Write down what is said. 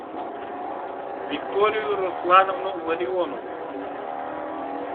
викторию руслановну ларионову